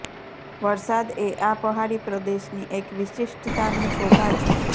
વરસાદ એ આ પહાડી પ્રદેશની એક વિશિષ્ટતા ને શોભા છે